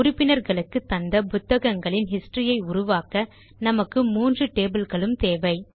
உறுப்பினர்களுக்கு தந்த புத்தகங்களின் ஹிஸ்டரி ஐ உருவாக்க நமக்கு மூன்று tableகளும் தேவை